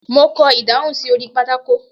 Mo kọ ìdáhùn sí orí pátákó.